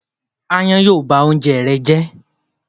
Ááyán yóò ba oúnjẹ rẹ jẹ́.